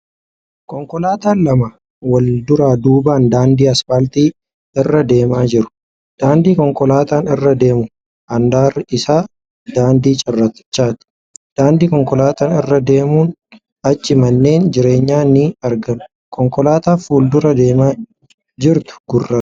Konkolaataan lama wal duraa duubaan daandii aspaaltii irra deemaa jiru. Daandii konkolaataan irra deemu handaarri isaa daandii cirrachaati. Daandii konkolaataan irra deemuun achi manneen jireenyaa ni argama. Konkolaataan fuuldura deemaa jirtu gurraacha.